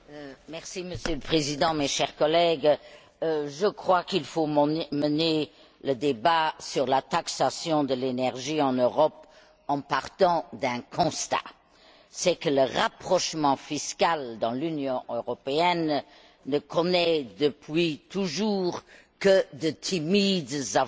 Monsieur le Président, chers collègues, je crois qu'il faut mener le débat sur la taxation de l'énergie en Europe en partant d'un constat, qui est que le rapprochement fiscal dans l'Union européenne ne connaît, depuis toujours, que de timides avancées.